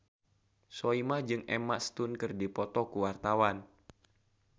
Soimah jeung Emma Stone keur dipoto ku wartawan